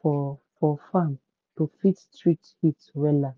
for for farm to fit treat heat wahala.